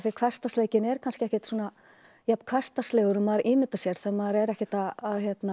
hversdagsleikinn er kannski ekkert jafn hversdagslegur og maður ímyndar sér þegar maður er ekkert að